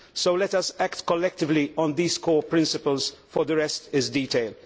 So let us act collectively on these core principles, for the rest is detail.